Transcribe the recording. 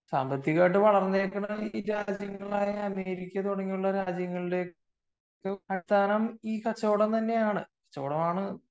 സാമ്പത്തികമായി വളര്ന്ന അമേരിക്ക പോലുള്ള രാജ്യങ്ങളിൽ അടിസ്ഥാനം ഈ കച്ചവടം തന്നെയാണ്